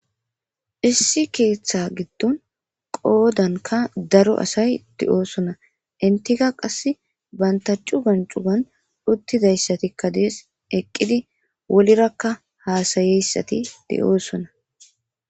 Issi keetha gidon qodanka daro asay de'ssona entikka qassi banta cugan chugan utidaysikka dees eqidi wolira hasayeysati deyossona.